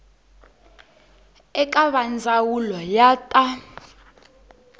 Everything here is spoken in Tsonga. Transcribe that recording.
eka va ndzawulo ya ta